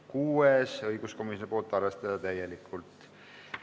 Kuues on õiguskomisjonilt, arvestada täielikult.